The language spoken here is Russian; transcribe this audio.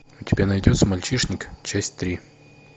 у тебя найдется мальчишник часть три